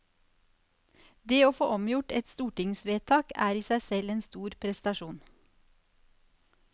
Det å få omgjort et stortingsvedtak er i seg selv en stor prestasjon.